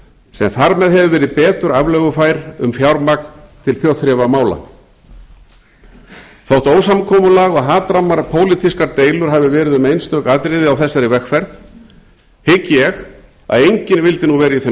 sem þar með hefur verið betur aflögufær um fjármagn til þjóðþrifamála þótt ósamkomulag og hatram á pólitískar deilur hafi verið um einstök atriði á þessari vegferð hygg ég að enginn vildi nú vera í þeim